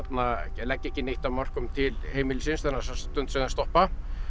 leggja ekki neitt að mörkum til heimilisins þessa stund sem þeir stoppa